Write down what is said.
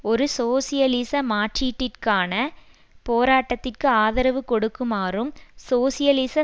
ஒரு சோசியலிச மாற்றீட்டிற்கான போராட்டத்திற்கு ஆதரவு கொடுக்குமாறும் சோசியலிச